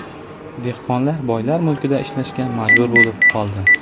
Dehqonlar boylar mulkida ishlashga majbur bo‘lib qoldi.